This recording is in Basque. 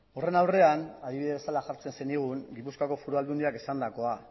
horren aurrean adibide bezala jartzen zenigun gipuzkoako foru aldundiak esandakoa